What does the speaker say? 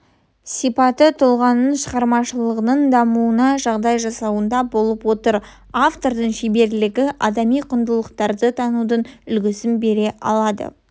сипаты тұлғаның шығармашылығының дамуына жағдай жасауында болып отыр автордың шеберлігі адами құндылықтарды танудың үлгісін бере алады